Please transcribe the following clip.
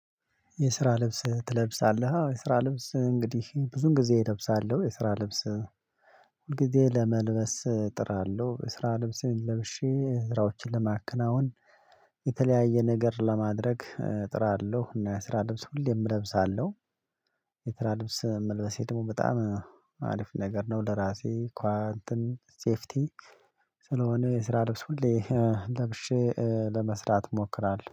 የስራ ልብስ ትለብሳለህ? አዎ የስራ ልብስ እንግዲህ ብዙን ጊዜ እለብሳለሁ የስራ ልብስ ሁል ጊዜ ለመልበስ እጥራለሁ የስራ ልብሴን ለብሼ ስራዎችን ለማከናወን። የተለያየ ነገር ለማድረግ እጥራለሁ እና የስራ ልብስ ሁሌም እለብሳለሁ። የስራ ልብስ መልበሴ ደግሞ በጣም አሪፍ ነገር ነው ለራሴ እንትን ሴፍቲ ስለሆነ የስራ ልብስ ሁሌ ለብሼ ለመስራት እሞክራለሁ